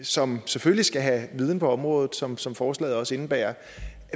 som selvfølgelig skal have viden på området som som forslaget også indebærer